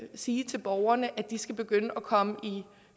sige til borgerne at de skal begynde at komme